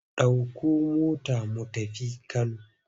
Ɗauko mota mu tafi Kano!